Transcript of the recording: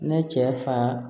Ne cɛ fa